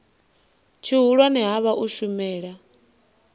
tshihulwane ha vha u shumela